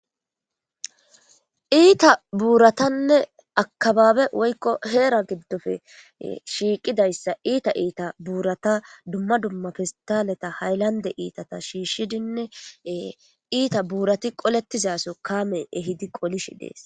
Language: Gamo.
Iita buuratanne akababe woykko heera giddofe shiiqidayssa iita iita buurata dumma dumma fistaleta haylande iitata shiishshidinne iita buurati qolettizaso kaame ehidi qolishi dees.